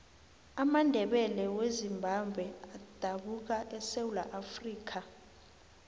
amandebele wezimbabwe adabuka esewula afrikha